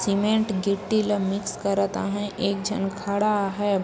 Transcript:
Cement गिट्टी ला mix करत आहें एक झन खड़ा है।